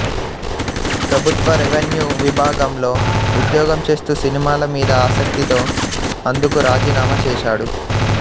ప్రభుత్వ రెవిన్యూ విభాగంలో ఉద్యోగం చేస్తూ సినిమాల మీద ఆసక్తితో అందుకు రాజీనామా చేశాడు